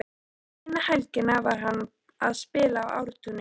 Eina helgina var hann að spila í Ártúni.